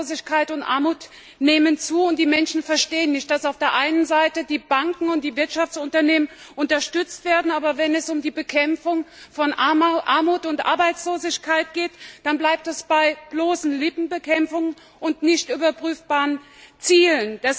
Arbeitslosigkeit und Armut nehmen zu, und die Menschen verstehen nicht, dass auf der einen Seite die Banken und die Wirtschaftsunternehmen unterstützt werden, aber wenn es um die Bekämpfung von Armut und Arbeitslosigkeit geht, dann bleibt es bei bloßen Lippenbekenntnissen und nicht überprüfbaren Zielen.